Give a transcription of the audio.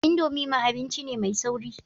Indomie ma abinci ne mai sauri.